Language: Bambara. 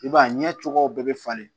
I b'a ye ɲɛ cogoyaw bɛɛ bɛ falen